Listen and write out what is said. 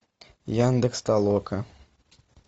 яндекс толока